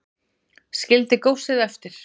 Skildi góssið eftir